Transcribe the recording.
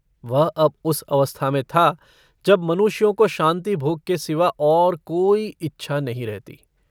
वह अब उस अवस्था में था जब मनुष्यों को शान्तिभोग के सिवा और कोई इच्छा नहीं रहती।